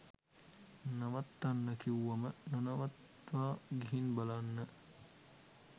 නවත්තන්න කිව්වම නොනවත්වා ගිහින් බලන්න.